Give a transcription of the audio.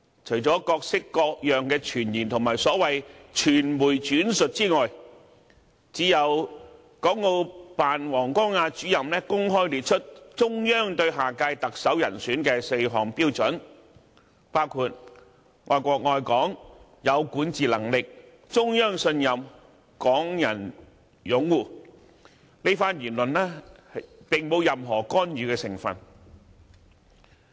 除了各式各樣的傳言和所謂傳媒轉述之外，只有國務院港澳事務辦公室王光亞主任公開列出中央對下屆特首人選的4項標準，包括"愛國愛港、有管治能力、中央信任、港人擁護"，這番言論並沒有任何干預的成分。